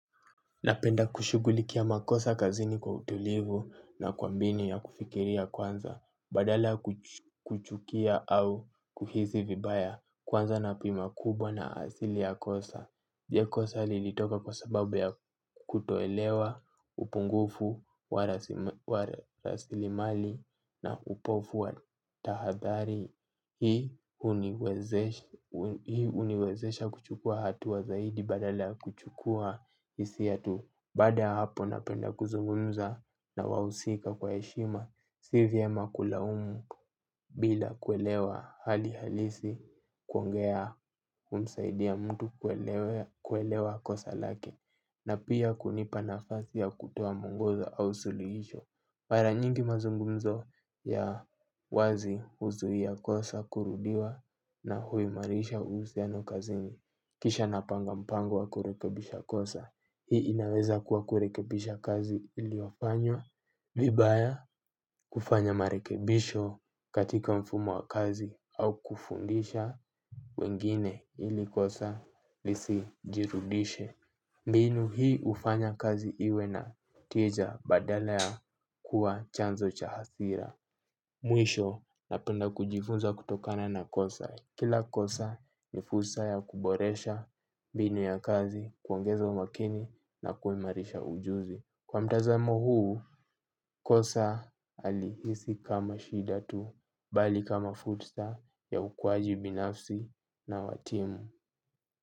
Napenda kushughulikia makosa kazini kwa utulivu na kwa mbinu ya kufikiria kwanza badala kuchukia au kuhisi vibaya kwanza napima kubwa na asili ya kosa. Je, kosa lilitoka kwa sababu ya kutoelewa upungufu wa rasilimali na upofu wa tahadhari. Hii huniwezesha kuchukua hatua zaidi badala kuchukua hisia tu. Baada ya hapo napenda kuzungumza na wahusika kwa heshima. Si vyama kulaumu bila kuelewa hali halisi kuongea humsaidia mtu kuelewa kosa lake. Na pia kunipa nafasi ya kutoa muongoza au suluhisho. Mara nyingi mazungumzo ya wazi huzuia kosa kurudiwa na huimarisha uhusiano kazini. Kisha napanga mpango wa kurekebisha kosa. Hii inaweza kuwa kurekebisha kazi iliyofanywa, vibaya kufanya marekebisho katika mfumo wa kazi au kufundisha wengine ili kosa lisijirudishe. Mbinu hii hufanya kazi iwe na tija badala ya kuwa chanzo cha hasira. Mwisho napenda kujifunza kutokana na kosa. Kila kosa ni fursa ya kuboresha mbinu ya kazi, kuongeza umakini na kuimarisha ujuzi. Kwa mtazamo huu, kosa halihisi kama shida tu, bali kama fursa ya ukuaji binafsi na wa timu.